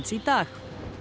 í dag